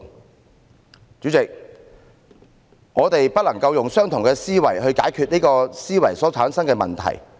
代理主席，我們不能用相同的思維去解決這思維所產生的問題。